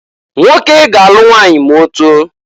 Nwoke ga-alụ nwanyị ma otoo.